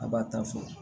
A b'a ta fɔ